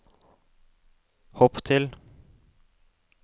hopp til